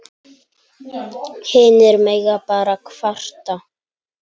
Hinir mega bara kvarta.